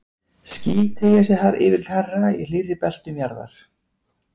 ský teygja sig yfirleitt hærra í hlýrri beltum jarðar